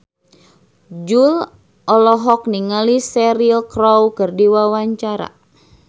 Jui olohok ningali Cheryl Crow keur diwawancara